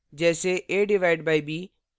/ division : जैसे a/b